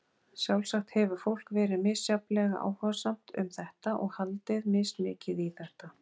Sjálfsagt hefur fólk verið misjafnlega áhugasamt um þetta og haldið mismikið í þetta.